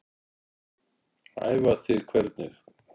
Æfa þig hvernig?